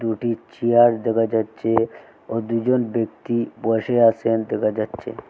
দুটি চেয়ার দেখা যাচ্ছে ও দুজন ব্যক্তি বসে আসেন দেখা যাচ্ছে।